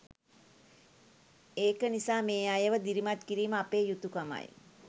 ඒක නිසා මේ අයව දිරිමත් කිරීම අපේ යුතුකමයි.